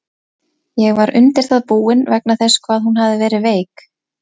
Ég var undir það búinn, vegna þess hvað hún hafði verið veik.